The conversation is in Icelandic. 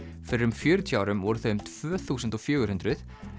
fyrir um fjörutíu árum voru þau um tvö þúsund og fjögur hundruð